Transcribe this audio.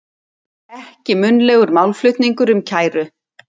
Ekki munnlegur málflutningur um kæru